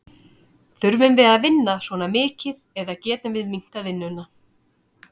Þurfum við að vinna svona mikið eða getum við minnkað vinnuna?